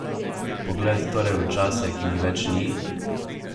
Pogled torej v čase, ki jih več ni?